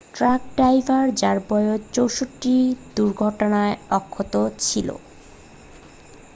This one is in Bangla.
ট্রাক ড্রাইভার যার বয়স 64 দুর্ঘটনায় অক্ষত ছিল